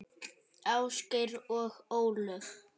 Ásgeir og Ólöf.